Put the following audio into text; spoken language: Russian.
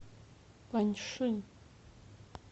паньши